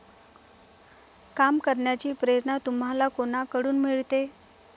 काम करण्याची प्रेरणा तुम्हाला कोणाकडून मिळते?